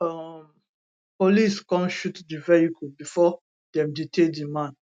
um police come shoot di vehicle bifor dem detain di man